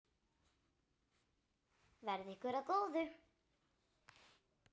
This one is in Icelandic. Verði ykkur að góðu.